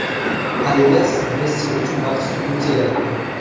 Adidas Messi uchun maxsus butsa yaratdi.